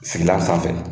Sigilan sanfɛ